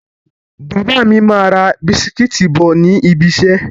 Bàbá mi máa ra bisikítì bọ̀ níbi ìṣẹ́.